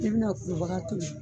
I bɛna kubaga tobi